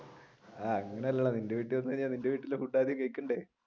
ആഹ് അങ്ങനെയല്ലടാ നിന്റെ വീട്ടിൽ വന്നിട്ട് നിന്റെ വീട്ടിലെ ഫുഡ് ആദ്യം കഴിക്കണ്ടേ?